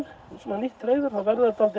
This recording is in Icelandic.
nýtt hreiður þá verða þau dálítið